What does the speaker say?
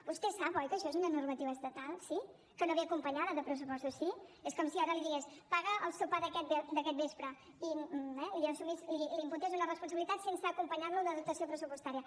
vostè sap oi que això és una normativa estatal sí que no ve acompanyada de pressupostos sí és com si ara li digués paga el sopar d’aquest vespre eh i li imputés una responsabilitat sense acompanyar lo de dotació pressupostària